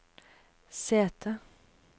sete